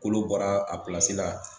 Kolo bɔra a pilasi la.